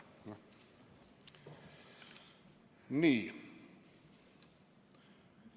Nii.